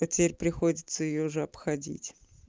а теперь приходится её же обходить